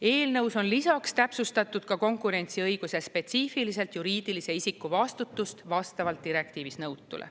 Eelnõus on lisaks täpsustatud ka konkurentsiõiguse spetsiifiliselt juriidilise isiku vastutust vastavalt direktiivis nõutule.